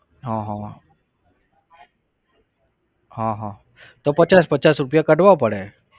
હા હા હા હા તો પચાસ પચાસ રૂપિયા કાઢવા પડે.